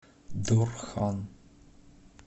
дорхан